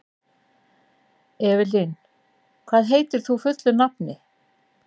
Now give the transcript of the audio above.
Evelyn, hvað heitir þú fullu nafni?